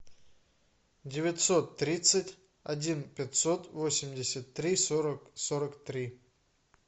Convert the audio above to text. девятьсот тридцать один пятьсот восемьдесят три сорок сорок три